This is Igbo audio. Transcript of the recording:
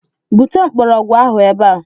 Bute mgbọrọgwụ ahụ ebe a!